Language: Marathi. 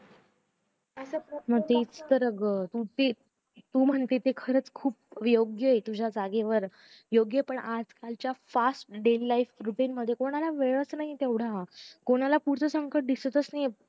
मग तेच तर आग तू म्हणते खरंच खूप योग्य अ पण आजकालच्या fast day life routing मध्ये कोणाला वेळच नाही तेवढा कपणाला पुढचं संकट दिसत नाहीए